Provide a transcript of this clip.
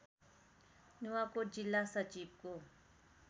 नुवाकोट जिल्ला सचिवको